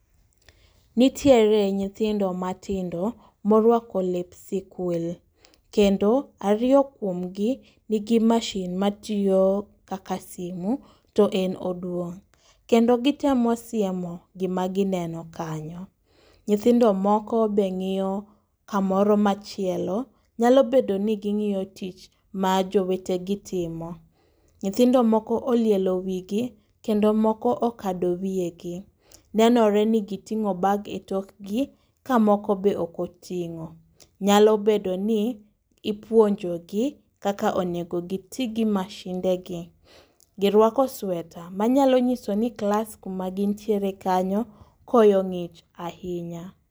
Nitiere nyithindo matindo morwako lep sikul, kendo ariyo kuom gi nigi mashin ma tiyo kaka simu to en oduong'. Kendo gitemo siemo gima gineno kanyo, nyithindo moko be ng'iyo kamoro machielo. Nyalo bedo ni ging'iyo tich ma jowetegi timo. Nyithindo moko olielo wigi, kendo moko okado wiye gi. Nenore ni giting'o bag e tokgi, ka moko be okoting'o. Nyalo bedo ni ipuonjo gi kakonego giti gi mashinde gi. Girwako sweta, ma nyalo nyiso ni klas kuma gintiere kanyo koyo ng'ich ahinya.